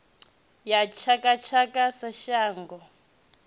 ya tshaka tshaka sa manngo